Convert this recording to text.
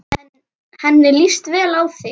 Henni líst vel á þig.